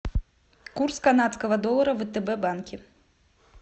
курс канадского доллара в втб банке